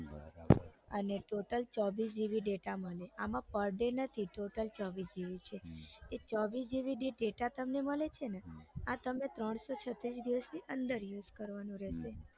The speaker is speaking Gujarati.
અને total ચોવીસ gb data મળે આમ per day નથી total ચોવીસ જીબી છે એ ચોવીસ gb data જે તમને મળે છે ને આ તમે ત્રણસો છત્રીસ દિવસની અંદર use કરવાનો રેસે